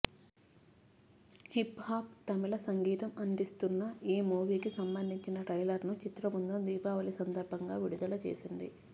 hip hop Tamil సంగీతం అందిస్తున్న ఈ మూవీకి సంబంధించిన ట్రైలర్ను చిత్ర బృందం దీపావళి సందర్భంగా విడుదల చేసింది